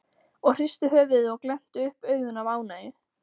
og hristu höfuðið og glenntu upp augun af ánægju.